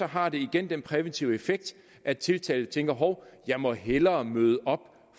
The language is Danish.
har det den præventive effekt at tiltalte tænker hov jeg må hellere møde op